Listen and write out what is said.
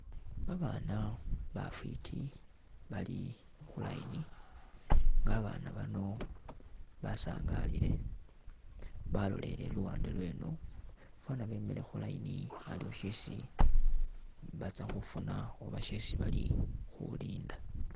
Babana bafwiti Bali khu line, babana bano basangalile , baloleleye luwande lweno fwana bemile khu line aliwo sheesi batsakhufuna Oba shesii balikhulinda